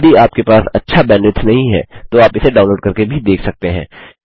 यदि आपके पास अच्छा बैंडविड्थ नहीं है तो आप इसे डाउनलोड़ करके भी देख सकते हैं